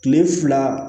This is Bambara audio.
Kile fila